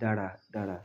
dáradára.